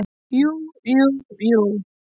Jú, jú, jú.